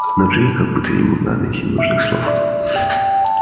но джинни как будто не могла найти нужных слов